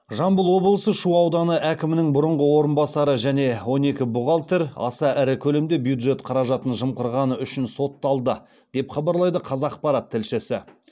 жамбыл облысы шу ауданы әкімінің бұрынғы орынбасары және он екі бухгалтер аса ірі көлемде бюджет қаражатын жымқырғаны үшін сотталды деп хабарлайды қазақпарат тілшісі